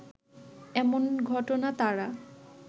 এমন ঘটনা তারা